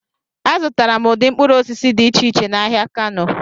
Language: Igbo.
Azụtara m ụdị mkpụrụ osisi dị iche iche n'ahịa Kano.